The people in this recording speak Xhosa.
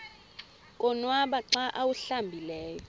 konwaba xa awuhlambileyo